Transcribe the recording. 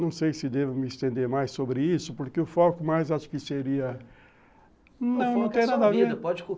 Não sei se devo me estender mais sobre isso, porque o foco mais acho que seria... Não, não tem nada a ver.